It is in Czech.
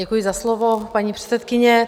Děkuji za slovo, paní předsedkyně.